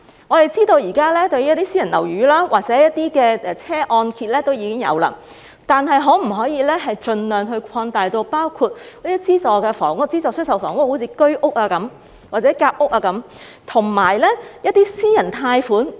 我們知道現時私人樓宇或汽車按揭已經有這種安排，但可否盡量擴大至包括資助房屋，如居屋或夾屋等，以及一些私人貸款呢？